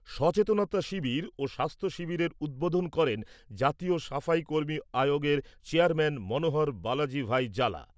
সচেতনতা শিবির ও স্বাস্থ্য শিবিরের উদ্বোধন করেন জাতীয় সাফাই কর্মী আয়োগের চেয়ারম্যান মনোহর বালজি ভাই জালা।